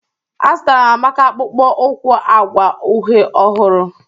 Azụtara m Amaka akpụkpọ ụkwụ agwa uhe ọhụrụ